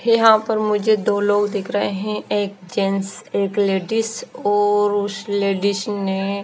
यहां पर मुझे दो लोग दिख रहे हैं एक जेंस और एक लेडिस और उस लेडिस ने--